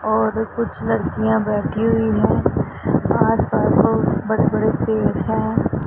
और कुछ लड़कियां बैठी हुईं हैं आसपास बहुत स बड़े बड़े पेड़ हैं।